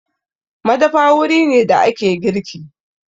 Madafa wuri ne da ake girki.